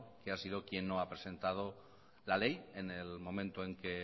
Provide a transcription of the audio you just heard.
que ha sido quien no ha presentado la ley en el momento en el que